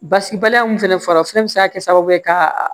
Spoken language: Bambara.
Basi baliya min fɛnɛ fɔra o fɛnɛ bi se ka kɛ sababu ye ka